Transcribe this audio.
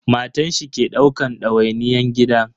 Matan shi ke daukan dawainiyyan gidan.